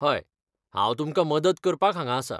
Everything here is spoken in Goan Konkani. हय, हांव तुमकां मदत करपाक हांगा आसां.